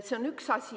See on üks asi.